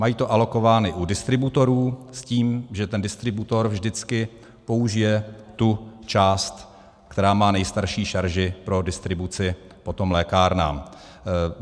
Mají to alokováno u distributorů s tím, že ten distributor vždycky použije tu část, která má nejstarší šarži, pro distribuci potom lékárnám.